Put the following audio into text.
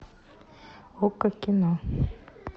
окко кино